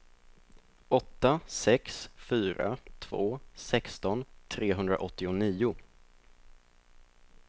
åtta sex fyra två sexton trehundraåttionio